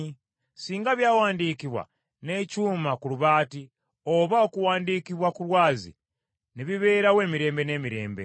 Singa byawandiikibwa n’ekyuma ku lubaati, oba okuwandiikibwa ku lwazi ne bibeerawo emirembe n’emirembe!